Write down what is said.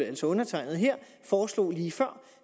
altså undertegnede her foreslog lige før